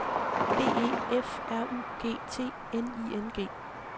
B E F R U G T N I N G